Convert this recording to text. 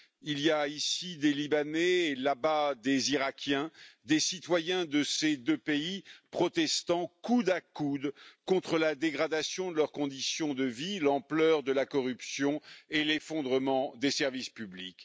il y a ici des Libanais, là bas des Irakiens, des citoyens de ces deux pays, protestant coude à coude contre la dégradation de leurs conditions de vie, l'ampleur de la corruption et l'effondrement des services publics.